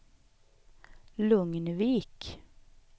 Lugnvik